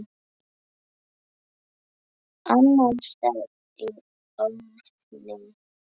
Annars stefni í óefni.